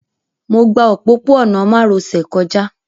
Mo gba òpópó-ọ̀nà márosẹ̀ kọjá